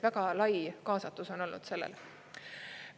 Väga lai kaasatus on olnud sellel.